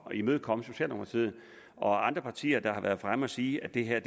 imødekomme socialdemokratiet og andre partier der har været fremme at sige at det her